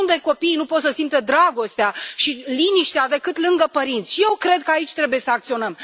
Niciunde copiii nu pot să simtă dragostea și liniștea, doar lângă părinți și eu cred că aici trebuie să acționăm.